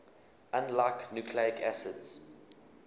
unlike nucleic acids